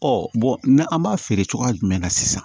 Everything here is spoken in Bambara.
an b'a feere cogoya jumɛn na sisan